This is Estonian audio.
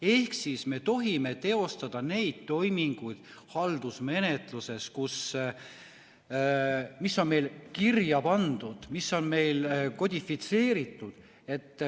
Ehk siis me tohime teostada neid toiminguid haldusmenetluses, mis on meil kirja pandud ja mis on meil kodifitseeritud.